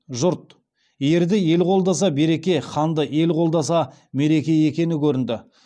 жұрт ерді ел қолдаса береке ханды ел қолдаса мереке екені көрінді